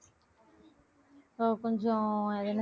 ஆஹ் கொஞ்சம் எனக்கு